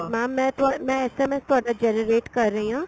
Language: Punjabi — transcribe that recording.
ਮੈਂ ਤੁਹਾਡਾ ਮੈ SMS ਤੁਹਾਡਾ generate ਕਰ ਰਹੀ ਆ